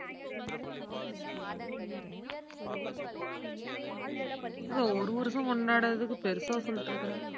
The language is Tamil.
இத ஒரு வருஷம் கொண்டாடுறதுக்கு பெருசா சொல்லிட்டு இருக்கற.